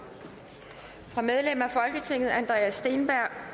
fra medlem af folketinget andreas steenberg